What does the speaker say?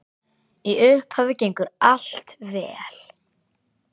Í upphafi gengur allt vel.